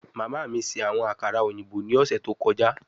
Mama mi ṣe awọn akara oyinbo ni ọsẹ to kọja